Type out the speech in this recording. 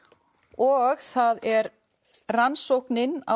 og það er rannsóknin á